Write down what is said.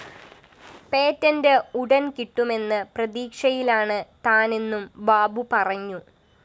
patent ഉടന്‍ കിട്ടുമെന്ന പ്രതീക്ഷയിലാണ് താനെന്നും ബാബു പറഞ്ഞു